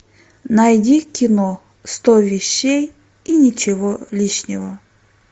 найди кино сто вещей и ничего лишнего